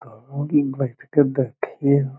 घरवाम कि बैठ के देखिह।